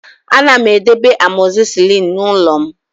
Ana m edebe amoxicillin n'ụlọ m